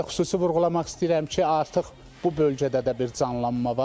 Həm də xüsusi vurğulamaq istəyirəm ki, artıq bu bölgədə də bir canlanma var.